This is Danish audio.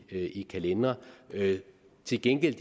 i kalendere til gengæld